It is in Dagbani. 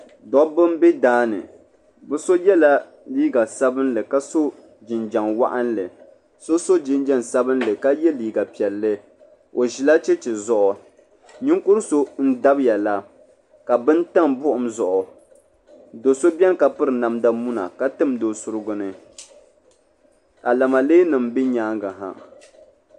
Dobbi m-be daa ni bɛ so yela liiga sabinli ka so jinjam waɣinli so so jinjam sabinli ka ye liiga piɛlli o ʒila cheche zuɣu ninkuri so n-dabiya la ka bini tam buɣum zuɣu do so beni ka piri namda muna ka timdi o surigu ni ka lamaleenima be nyaaŋa ha.